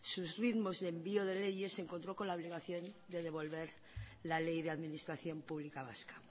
sus ritmos y envío de leyes se encontró con la obligación de devolver la ley de administración pública vasca